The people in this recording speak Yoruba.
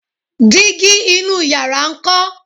dígí inú yàrá nkọ?